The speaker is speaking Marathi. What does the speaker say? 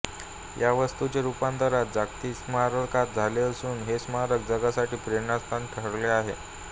याच वास्तूचे रुपांतर आज जागतिक स्मारकात झाले असून हे स्मारक जगासाठी प्रेरणास्थान ठरले आहे